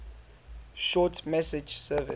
short message service